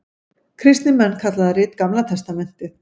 Kristnir menn kalla það rit Gamla testamentið.